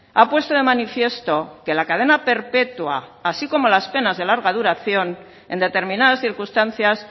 ha puesto de manifiesto que la cadena perpetua así como las penas de larga duración en determinadas circunstancias